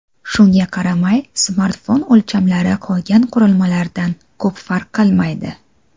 Shunga qaramay, smartfon o‘lchamlari qolgan qurilmalardan ko‘p farq qilmaydi.